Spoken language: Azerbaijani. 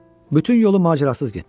Bütün yolu macərasız getdilər.